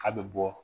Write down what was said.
K'a bɛ bɔ